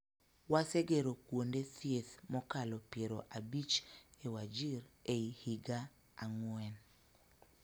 Wasegero kuonde thieth mokalo piero abich e Wajir ei higa ang�wen